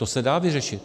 To se dá vyřešit.